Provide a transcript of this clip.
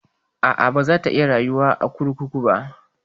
A'a, baza ta iya rayuwa a kurkuku ba.